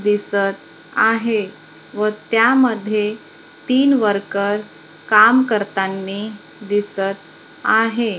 दिसत आहे व त्यामध्ये तीन वर्कर काम करतांनी दिसत आहे.